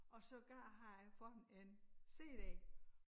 Og sågar har jeg fået en cd